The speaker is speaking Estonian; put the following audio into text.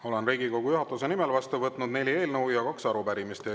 Olen Riigikogu juhatuse nimel vastu võtnud neli eelnõu ja kaks arupärimist.